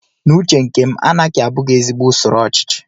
N'uche nke m, anaki abụghị ezigbo usoro ochichi